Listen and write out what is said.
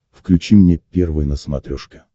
включи мне первый на смотрешке